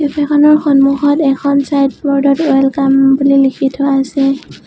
কেফেখনৰ সন্মুখত এখন চাইনব'ৰ্ডত ৱেলকম বুলি লিখি থোৱা আছে।